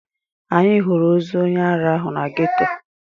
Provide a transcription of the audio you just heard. Anyị hụrụ ozu onye ara ahụ na ghetto.